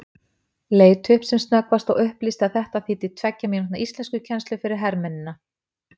Leit upp sem snöggvast og upplýsti að þetta þýddi tveggja mínútna íslenskukennsla fyrir hermennina.